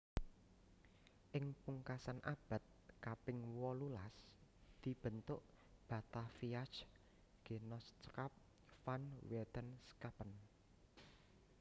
Ing pungkasan abad kaping wolulas dibentuk Bataviaasch Genotschap van Wetenschappen